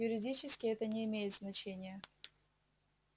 юридически это не имеет значения